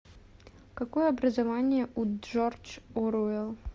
какое образование у джордж оруэлл